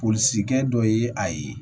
Polisikɛ dɔ ye a ye